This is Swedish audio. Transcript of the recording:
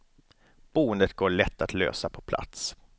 Boendet går lätt att lösa på plats.